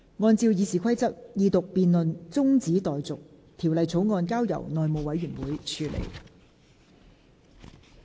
按照《議事規則》，二讀辯論中止待續，條例草案交由內務委員會處理。